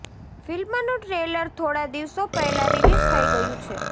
ફિલ્મનું ટ્રેલર થોડા દિવસો પહેલા રીલીઝ થઇ ગયું છે